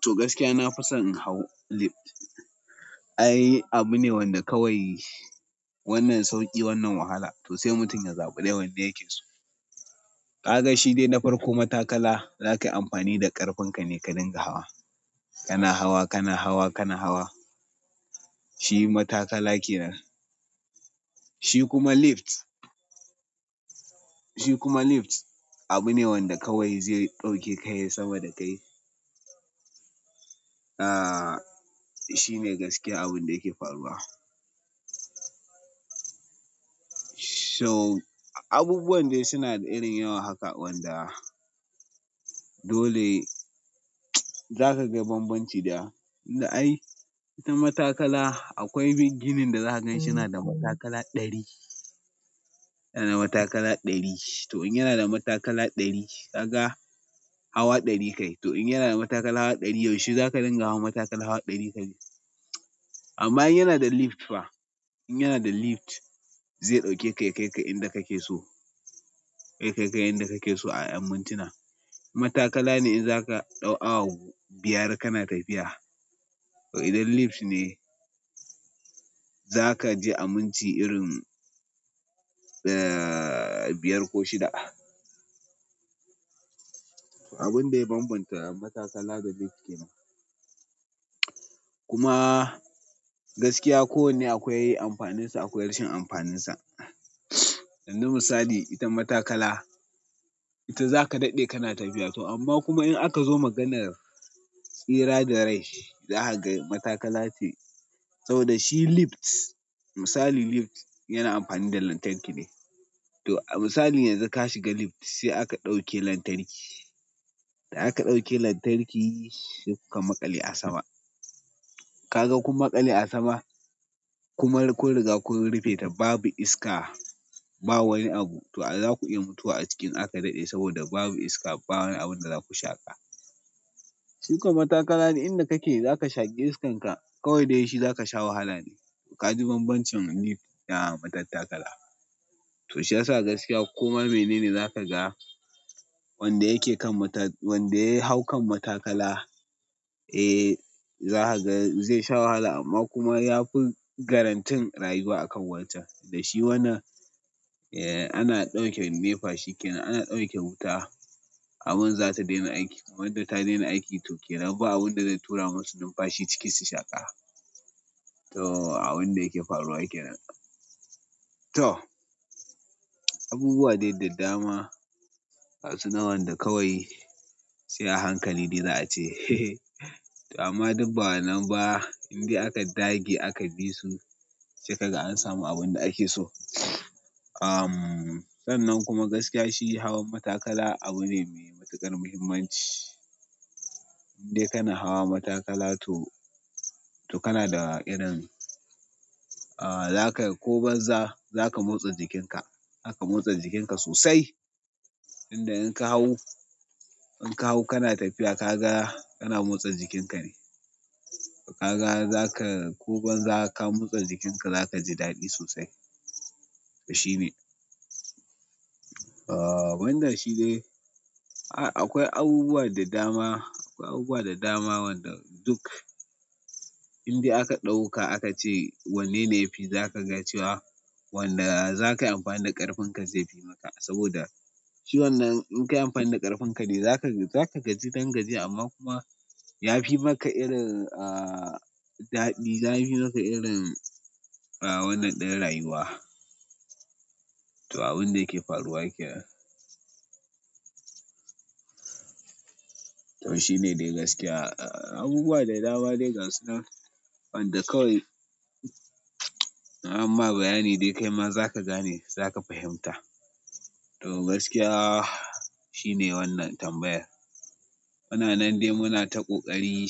To gaskiya na fi son in hau lift. Ai abune wanda kawai wannan sauƙi wannan wahala. To sai mutum ya zaɓi dai wanne yake so. Kaga shi dai na farko matakala, za ka yi amfani da ƙarfin ka ne ka dinga hawa. Kana hawa, kana hawa, kana hawa. Shi matakala yake nan. Shi kuma lift, shi kuma lift abune wanda kawai zai ɗauke ka yi sama da kai. Ah shine gaskiya abunda yake faruwa so, abubuwan dai suna da irin yawa haka wanda dole zaka ga bambanci da, in da ai ita matakala akwai ginin da za ka gan shi yana da matakala ɗari, yana da matakala ɗari. To in yana da matakala ɗari, ka ga hawa ɗari kai. To in yana da matakala hawa ɗari yau shi zaka dinga hawa matakala hawa ɗari ka bi. Amma in yana da lift fa, in yana da lift zai ɗauke ka ya kai ka inda kake so, zai kai ka inda kake so a mintuna. Matakala ne in zaka ɗau awa biyar kana tafiya. To idan lift ne zaka je a minti irin, eh, biyar ko shida. Abun dai ya bambanta matakala da lift kenan. Kuma gaskiya kowanne akwai amfaninsa, akwai rashin amfaninsa. Ƴan zuma misali, ita matakala ita zaka daɗe kana tafiya. To amma kuma in aka zo maganar tsira da rai za ka ga matakala ce. Saboda shi lift, misali lift yana amfani da lantarki ne. To a misali yanzu ka shiga lift sai aka ɗauke lantarki. Da aka ɗauke lantarki sai kuka maƙale a sama. Kaga kun maƙale a sama kuma kun riga kun rufe ta babu iska, ba wani abu. To a za ku iya mutuwa a ciki in aka daɗe saboda babu iska ba wani abun da zaku shaƙa. Su kam matakala duk inda kake zaka shaƙi iskanka. Kawai de shi zaka sha wahala ne. Ka ji bambancin lift da matattakala. To shi yasa gaskiya kuma mene ne zaka ga wanda yake kan mata-- wanda ya hau kan matakala, eh, za ka ga zai sha wahala amma kuma yafi garantin rayuwa akan wancan. Da shi wannan, eh, ana ɗauke nefa shi kenan. Ana ɗauke wuta abun za ta daina aiki. Wanda ta daina aiki to kenan ba abun da zai tura masu numfashi ciki su shaƙa. To abun da yake faruwa yake nan. To abubuwa dai da dama ga sunan wanda kawai sai a hankali za ace hehe to amma duk ba wannan ba inda aka dage aka bi su sai kaga an samu abun da ake so. Ahmm, sannan kuma gaskiya shi hawan matakala abu ne mai matuƙar muhimmanci. Indai kana hawa matakala to, to kana da irin, aa, za ka ko banza za ka motsa jikinka. Za ka motsa jikinka sosai. Tunda in kahau inkahau kana tafiya kaga kana mosta jikin kane ka ga za ka ko ban za ka motsa jikinka za ka ji daɗi sosai. To shine. Wannan shi dai. Akwai abubuwa da dama, akwai abubuwa da dama wanda duk inda aka ɗauka aka ce wanne ne yafi za ka ga cewa wanda za ka yi amfani da ƙarfin ka zai fi maka. Saboda shi wannan in kayi amfani da ƙarfin ka ne za ka, za ka gaji ɗan gajiya amma kuma yafi maka irin, aa, daɗi. Yafi maka irin, aa, wannan ɗin rayuwa. To abun da yake faruwa yake nan. To shine dai gaskiya. Abubuwa da dama dai gasu nan wanda kawai, in amma bayani dai kai ma za ka gane, za ka fahimta. To gaskiya shine wannan tambayar. Muna nan dai muna ta ƙoƙari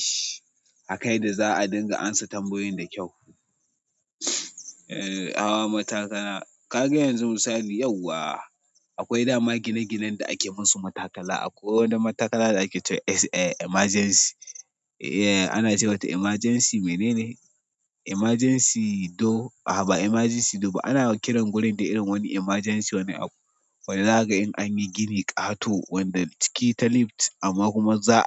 a kan yadda za a dinga ansa tambayoyin da kyau. A, hawa matakala. Kaga yanzu misali yau wa akwai dama gine-ginen da ake musu matakala. Akwai wani matakala da ake cewa s a emergency. Eh, ana ce wata emergency mene ne? Emergency do, a'a ba emergency do ba. Anayawan kiran gurin dai irin wani emergency wani abu. Wanda za ka ga in an yi gini ƙato wanda ciki ta lift amma kuma za.